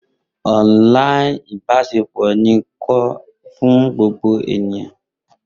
online ibaṣepọ ni ko fun gbogbo eniyan.